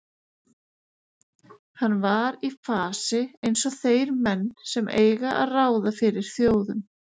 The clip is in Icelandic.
Hann var í fasi eins og þeir menn sem eiga að ráða fyrir þjóðum.